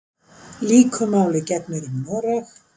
Líku máli gegnir um Noreg.